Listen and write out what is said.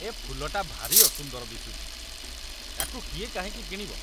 ଏ ଫୁଲଟା ଭାରି ଅସୁନ୍ଦର ଦିଶୁଚି । ୟାକୁ କିଏ କାହିଁକି କିଣିବ?